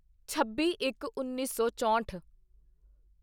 ਛੱਬੀਇੱਕਉੱਨੀ ਸੌ ਚੋਂਹਠ